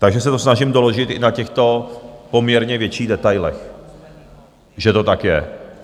Takže se to snažím doložit i na těchto poměrně větších detailech, že to tak je.